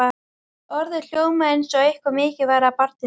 Orðið hljómaði eins og eitthvað mikið væri að barninu.